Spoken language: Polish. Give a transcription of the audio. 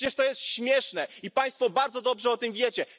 Przecież to jest śmieszne i Państwo bardzo dobrze o tym wiecie.